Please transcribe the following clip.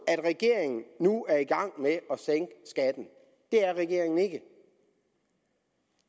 at regeringen nu er i gang med at sænke skatten det er regeringen ikke